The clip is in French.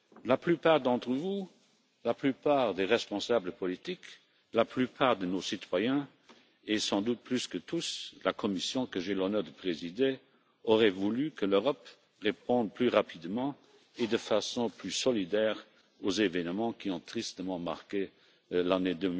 La plupart d'entre vous, la plupart des responsables politiques, la plupart de nos citoyens et, sans doute plus que tous, la Commission, que j'ai l'honneur de présider, auraient voulu que l'Europe réponde plus rapidement et de façon plus solidaire aux événements qui ont tristement marqué l'année